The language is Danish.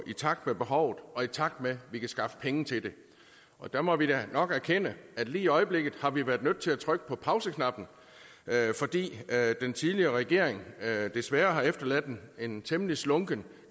i takt med behovet og i takt med at vi kan skaffe penge til det og der må vi da nok erkende at lige i øjeblikket har vi været nødt til at trykke på pauseknappen fordi den tidligere regering desværre har efterladt en temmelig slunken